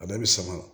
A bɛɛ bɛ sama